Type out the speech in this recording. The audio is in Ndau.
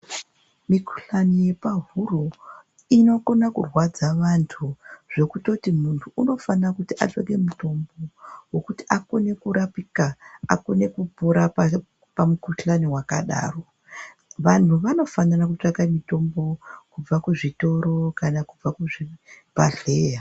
Mikhuhlani yepahuro inokona kurwadza vantu zvekutoti mutnhu unofana kutora mutombo kuti akone kurapika, akone kupona pamukhuhlani wakadaro. Vanhu vanofanira kutsvake mitombo kubva kuzvitoro kana kubva kuzvibhehleya